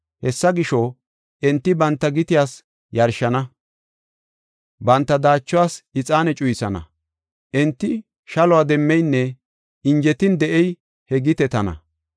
Hessa gisho, enti banta gitiyaas yarshana; banta daachuwas ixaane cuyisana. Enti shalo demmeynne injetin de7ey he gitetana.